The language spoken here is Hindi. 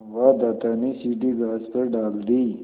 संवाददाता ने सीढ़ी घास पर डाल दी